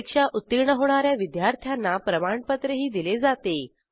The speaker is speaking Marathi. परीक्षा उत्तीर्ण होणा या विद्यार्थ्यांना प्रमाणपत्रही दिले जाते